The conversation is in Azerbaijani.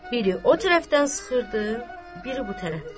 Biri o tərəfdən sıxırdı, biri bu tərəfdən.